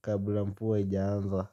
Kabla mvua haijaanza.